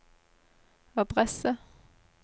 adresse